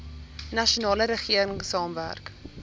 nasionale regering saamwerk